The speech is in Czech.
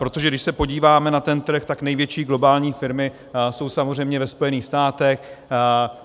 Protože když se podíváme na ten trh, tak největší globální firmy jsou samozřejmě ve Spojených státech.